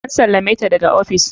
An sallame ta daga ofis.